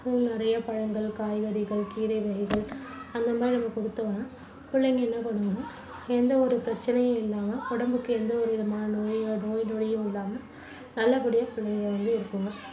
நிறைய பழங்கள், காய்கறிகள், கீரை வகைகள் அந்த மாதிரி நம்ம கொடுத்தோம்னா புள்ளைங்க என்ன பண்ணுங்கன்னா எந்த ஒரு பிரச்சனையுமில்லாம உடம்புக்கு எந்தவொரு விதமான நோய் நொடியும் இல்லாம நல்லபடியா பிள்ளைங்க வந்து இருக்குங்க.